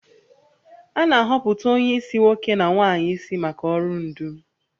A na-ahọpụta onye isi nwoke na nwanyị isi maka ọrụ ndu